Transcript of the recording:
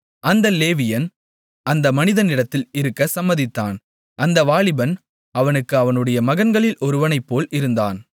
அந்த லேவியன் அந்த மனிதனிடத்தில் இருக்கச் சம்மதித்தான் அந்த வாலிபன் அவனுக்கு அவனுடைய மகன்களில் ஒருவனைப்போல் இருந்தான்